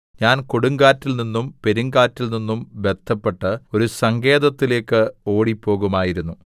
ഞാൻ കൊടുങ്കാറ്റിൽനിന്നും പെരുങ്കാറ്റിൽനിന്നും ബദ്ധപ്പെട്ട് ഒരു സങ്കേതത്തിലേക്ക് ഓടിപ്പോകുമായിരുന്നു